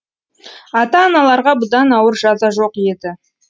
ата аналарға бұдан ауыр жаза жоқ еді